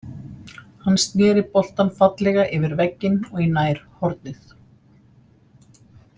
Hann snéri boltann fallega yfir vegginn og í nærhornið.